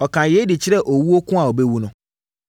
Ɔkaa yei de kyerɛɛ owuo ko a ɔbɛwu no.